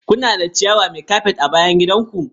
Kuna da ciyawa mai kafet a bayan gidan ku?